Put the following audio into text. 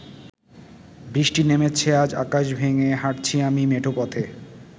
বৃষ্টি নেমেছে আজ আকাশ ভেঙ্গে হাটছি আমি মেঠো পথে